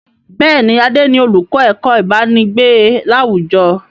Bẹ́ẹ̀ni, Adé ni olùkọ́ ẹ̀kọ́ ibanigbe láwùjọ.